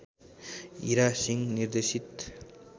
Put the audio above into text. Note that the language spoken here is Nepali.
हीरा सिंह निर्देशित